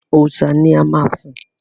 Òòṣà ni a máa sìn.